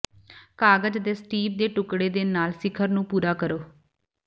ਕਾਗਜ਼ ਅਤੇ ਸਟੀਪ ਦੇ ਟੁਕੜੇ ਦੇ ਨਾਲ ਸਿਖਰ ਨੂੰ ਪੂਰਾ ਕਰੋ